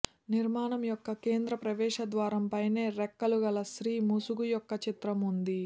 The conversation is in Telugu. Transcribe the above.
నిర్మాణం యొక్క కేంద్ర ప్రవేశద్వారం పైనే రెక్కలు గల స్త్రీ ముసుగు యొక్క చిత్రం ఉంది